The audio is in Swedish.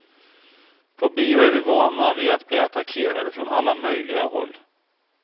På bio är vi vana vid att bli attackerade från alla möjliga håll.